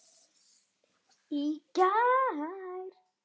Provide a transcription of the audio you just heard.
Í gær.